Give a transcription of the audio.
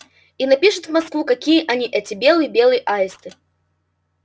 и напишет в москву какие они эти белые белые аисты